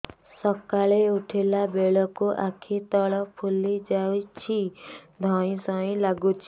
ସକାଳେ ଉଠିଲା ବେଳକୁ ଆଖି ତଳ ଫୁଲି ଯାଉଛି ଧଇଁ ସଇଁ ଲାଗୁଚି